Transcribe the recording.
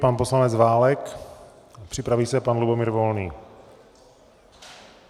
Pan poslanec Válek, připraví se pan Lubomír Volný.